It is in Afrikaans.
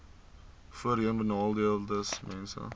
voorheenbenadeeldesmense